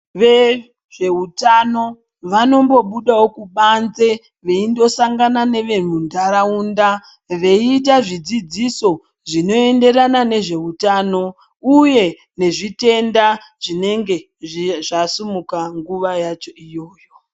Vezveutano vanombobudawo kubanze veindosangana nevemuntaraunda veiita zvidzidziso zvinoenderana nezveutano uye nezvitenda zvinenge zvasumuka nguva yacho iyoyo.